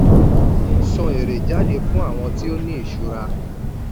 san èrè jáde fún àwọn tó ní ìṣura.